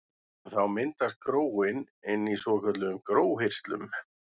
Þá myndast gróin inni í svokölluðum gróhirslum.